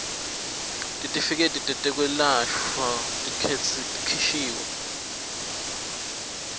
titifiketi tetekwelashwa letikhishwe